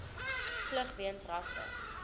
vlug weens rasse